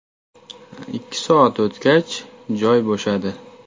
Ikki soat o‘tgach, joy bo‘shadi.